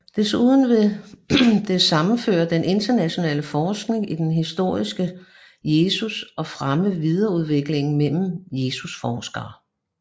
Desuden vil det sammenføre den internationale forskning i den historiske Jesus og fremme vidensudveksling mellem Jesusforskere